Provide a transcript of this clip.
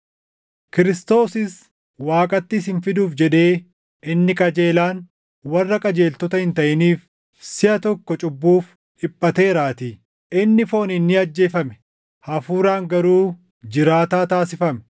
Kiristoosis Waaqatti isin fiduuf jedhee inni qajeelaan, warra qajeeltota hin taʼiniif siʼa tokko cubbuuf dhiphateeraatii. Inni fooniin ni ajjeefame; Hafuuraan garuu jiraataa taasifame;